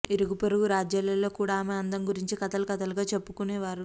ఇరుగుపొరుగు రాజ్యాలలో కూడా ఆమె అందం గురించి కథలు కథలుగా చెప్పుకునేవారు